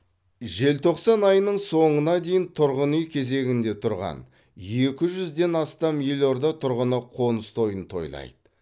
желтоқсан айының соңына дейін тұрғын үй кезегінде тұрған екі жүзден астам елорда тұрғыны қоныс тойын тойлайды